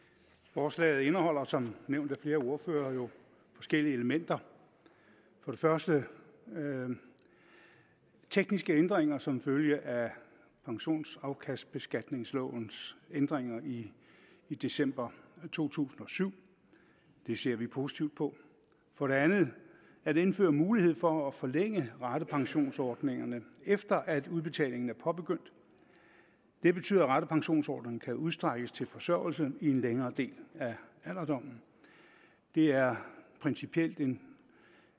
forslaget indeholder som nævnt af flere ordførere jo forskellige elementer for det første nogle tekniske ændringer som følge af pensionsafkastbeskatningslovens ændringer i i december to tusind og syv det ser vi positivt på for det andet at indføre mulighed for at forlænge ratepensionsordningerne efter at udbetalingen er påbegyndt det betyder at ratepensionsordningen kan udstrækkes til forsørgelse i en længere del af alderdommen det er principielt en